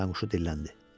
Kətanquşu dilləndi.